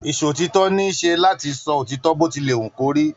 Isòtítọ ní isé láti sọ òtítọ bó tí lè wú kò rí.